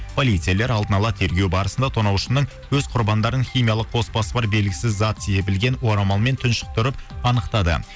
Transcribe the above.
полицейлер алдын ала тергеу барысында тонаушының өз құрбандарын химиялық қоспасы бар белгісіз зат себілген орамалмен тұншықтырып анықтады